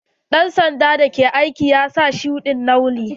Dan sanda da ke aiki ya sa shuɗi'n launi.